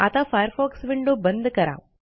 आता Firefox window बंद करा